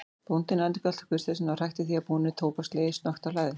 Bóndinn endurgalt kurteisina og hrækti að því búnu tóbakslegi snöggt á hlaðið.